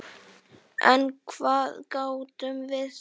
En hvað gátum við sagt?